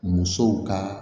Musow ka